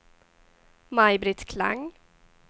Maj-Britt Klang